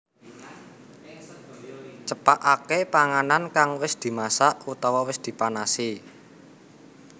Cepakaké panganan kang wis dimasak utawa wis dipanasi